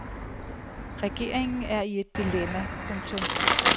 Regeringen er i et dilemma. punktum